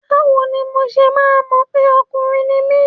Báwo ni mo ṣe máa mọ̀ pé ọkùnrin ni mí?